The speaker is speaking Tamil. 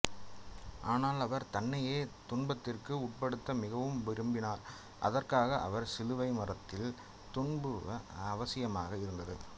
ஆனால் அவர் தன்னையே துன்பத்திற்கு உட்படுத்த மிகவும் விரும்பினார் அதற்காக அவர் சிலுவை மரத்தில் துன்புறுவது அவசியமாக இருந்தது